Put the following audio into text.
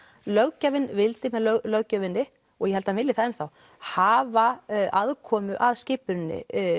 löggjafinn vildi með löggjöfinni og ég held hann vilji það enn þá hafa aðkomu að skipun